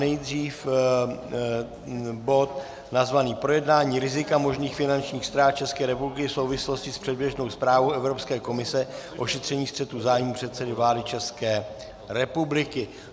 Nejdřív bod nazvaný Projednání rizika možných finančních ztrát České republiky v souvislosti s předběžnou zprávou Evropské komise o šetření střetu zájmů předsedy vlády České republiky.